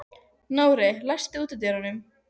Nóri, læstu útidyrunum.